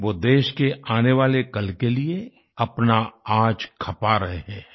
वो देश के आने वाले कल के लिए अपना आज खपा रहे हैं